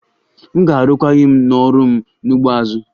M ga-arụkwaghịm n'ọrụ m n'ugbo azụ